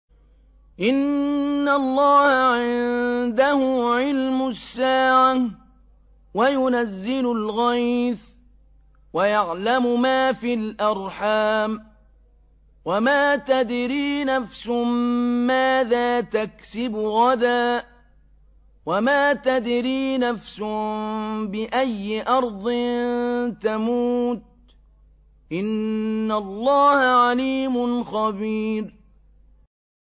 إِنَّ اللَّهَ عِندَهُ عِلْمُ السَّاعَةِ وَيُنَزِّلُ الْغَيْثَ وَيَعْلَمُ مَا فِي الْأَرْحَامِ ۖ وَمَا تَدْرِي نَفْسٌ مَّاذَا تَكْسِبُ غَدًا ۖ وَمَا تَدْرِي نَفْسٌ بِأَيِّ أَرْضٍ تَمُوتُ ۚ إِنَّ اللَّهَ عَلِيمٌ خَبِيرٌ